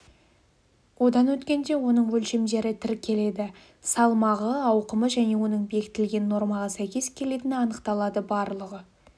одан өткенде оның өлшемдері тіркеледі салмағы ауқымы және оның бекітілген нормаға сәйкес келетіні анықталады барлығы